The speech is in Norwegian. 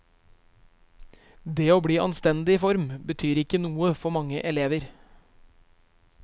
Det å bli i anstendig form betyr ikke noe for mange elever.